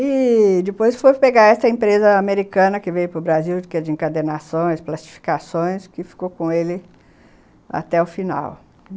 E depois foi pegar essa empresa americana que veio para Brasil, que é de encadernações, plastificações, que ficou com ele até o final.